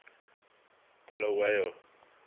bulawayo